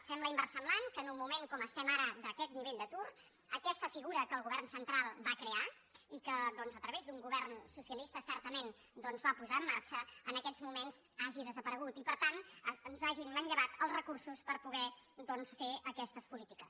sembla inversemblant que en un moment com estem ara d’aquest nivell d’atur aquesta figura que el govern central va crear i que doncs a través d’un govern socialista certament va posar en marxa en aquests moments hagi desaparegut i per tant ens hagin manllevat els recursos per poder fer aquestes polítiques